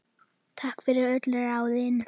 Takk fyrir öll ráðin.